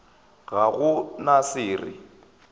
ga go na se re